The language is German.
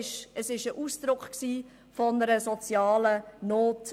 Dieser war Ausdruck einer sozialen Not.